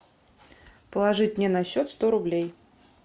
положить мне на счет сто рублей